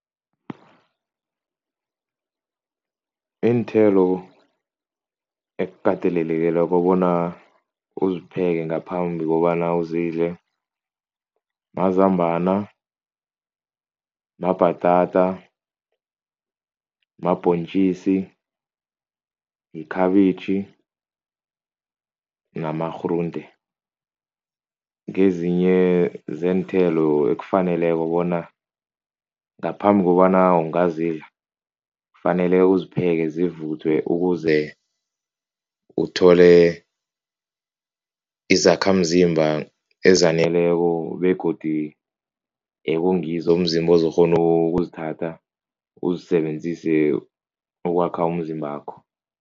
Iinthelo ekukatetekileko bona uzipheke ngaphambi kobana uzidle, mazambana, mabhatata, mabhontjisi, yikhabitjhi namarhrunte, ngezinye zeenthelo ekufaneleko bona ngaphambi kobana ungazidla kufanele uzipheke zivuthwe ukuze uthole izakhamzimba ezaneleko begodu ekungizo umzimba ozokghona ukuzithatha uzisebenzise ukwakha umzimbakho.